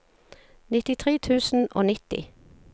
nittitre tusen og nitti